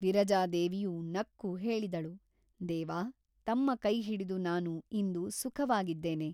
ವಿರಜಾದೇವಿಯು ನಕ್ಕು ಹೇಳಿದಳು ದೇವಾ ತಮ್ಮ ಕೈಹಿಡಿದು ನಾನು ಇಂದು ಸುಖವಾಗಿದ್ದೇನೆ.